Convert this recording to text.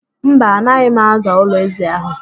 Mba, anaghị m aza ụlọ ézì ahụ.